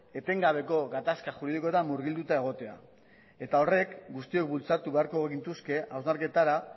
etengabeko gatazka juridikora murgilduta egotea eta horrek guztiok bultzatu beharko gintuzke hausnarketara